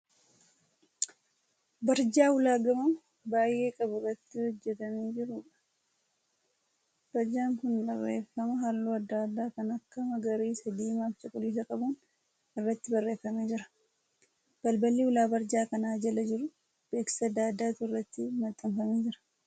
Barjaa ulaa gamoo baay'ee qabu irratti hojjetamee jiruudha. Barjaan kun barreeffama halluu adda addaa kan akka magariisa, diimaa fi cuquliisa qabuun irratti barreeffamee jira. Balballi ulaa barjaa kana jala jiruu beeksisa adda addaatu irratti maxxanfamee jira.